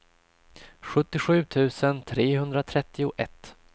sjuttiosju tusen trehundratrettioett